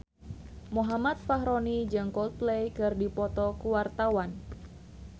Muhammad Fachroni jeung Coldplay keur dipoto ku wartawan